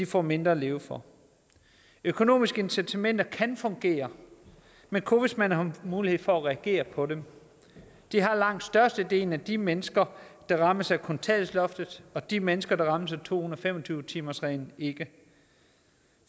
får mindre at leve for økonomiske incitamenter kan fungere men kun hvis man har mulighed for at reagere på dem det har langt størstedelen af de mennesker der rammes af kontanthjælpsloftet og de mennesker der rammes af to hundrede og fem og tyve timersreglen ikke